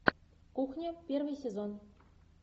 кухня первый сезон